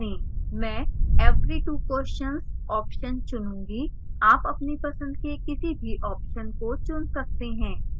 मैं every 2 questions option चुनूँगी आप अपनी पसंद के किसी भी option को चुन सकते हैं